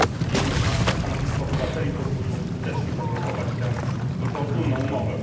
Jednoznaczne stanowisko obywateli pozwoliło w skuteczny sposób zablokować tę niefortunną umowę.